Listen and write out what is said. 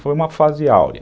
Foi uma fase áurea.